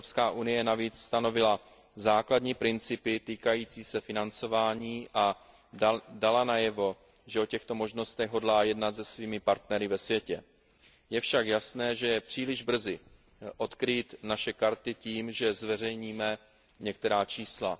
EU navíc stanovila základní principy týkající se financování a dala najevo, že o těchto možnostech hodlá jednat se svými partnery ve světě. Je však jasné, že je příliš brzy odkrýt naše karty tím, že zveřejníme některá čísla.